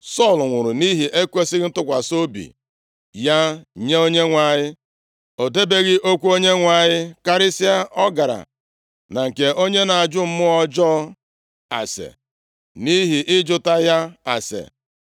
Sọl nwụrụ nʼihi ekwesighị ntụkwasị obi ya nye Onyenwe anyị, o debeghị okwu Onyenwe anyị, karịsịa, ọ gara na nke onye na-ajụ mmụọ ọjọọ ase, nʼihi ịjụta ya ase,